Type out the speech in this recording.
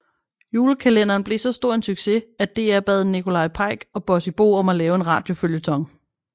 Julekalenderen blev så stor en succes at DR bad Nikolaj Peyk og Bossy Bo om at lave en radioføljeton